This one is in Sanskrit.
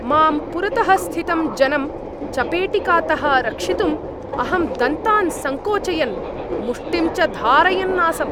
माम् पुरतः स्थितं जनं चपेटिकातः रक्षितुं अहं दन्तान् संकोचयन्, मुष्टिं च धारयन् आसम्।